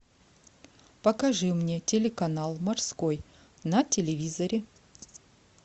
покажи мне телеканал морской на телевизоре